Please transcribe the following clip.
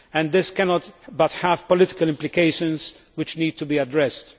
This cannot but have political implications, which need to be addressed.